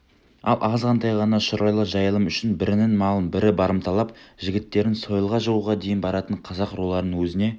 ал азғантай ғана шұрайлы жайылым үшін бірінің малын бірі барымталап жігіттерін сойылға жығуға дейін баратын қазақ руларын өзіңе